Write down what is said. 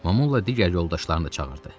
Mamula digər yoldaşlarını da çağırdı.